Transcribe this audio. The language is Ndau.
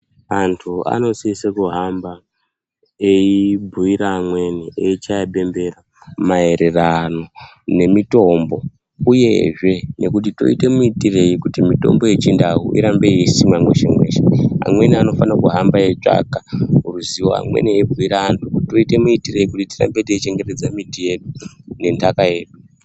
Anthu anosisa kuhamba, eibhuira amweni, eichaye bembera maererano ne mitombo, uyezve nekuti toita maitirei? Kuti mitombo yechindau urambe yeisimwa mweshe-mweshe. Amweni anofane kuhambe eitsvaka ruziwo, amweni eibhuira anthu kuti toita muitireyi kuti tirambe teichengetedza miti yedu nenthaka yedu?